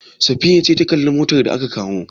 Safiya ce ta kalli motar da aka kawo?